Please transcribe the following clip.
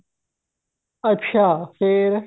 ਅੱਛਾ ਫ਼ੇਰ